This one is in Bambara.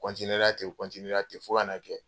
ten fo ka n'a kɛ